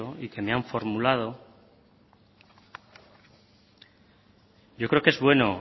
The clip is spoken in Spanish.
y que me han formulado yo creo que es bueno